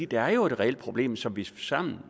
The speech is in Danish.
der er jo et reelt problem som vi